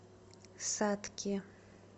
сатке